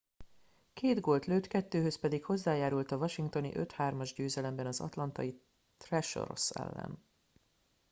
két gólt lőtt kettőhöz pedig hozzájárult a washingtoni 5-3-as győzelemben az atlantai thrashers ellen